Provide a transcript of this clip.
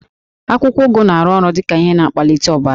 Akwụkwọ ụgụ na-arụ ọrụ dị ka ihe na-akwalite ọbara